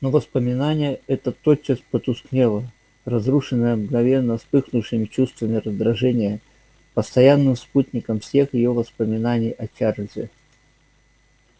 но воспоминание это тотчас потускнело разрушенное мгновенно вспыхнувшим чувствами раздражения постоянным спутником всех её воспоминаний о чарлзе